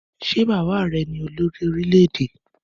Ṣé bàbá rẹ ní olórí orílẹ́-èdè?